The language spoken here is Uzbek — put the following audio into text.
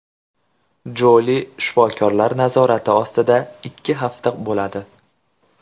Joli shifokorlar nazorati ostida ikki hafta bo‘ladi.